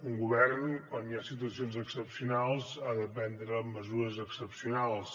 un govern quan hi ha situacions excepcionals ha de prendre mesures excepcionals